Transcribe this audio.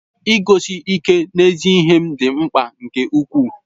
Iguzosi ike n'ezi ihe m dị mkpa nke ukwuu.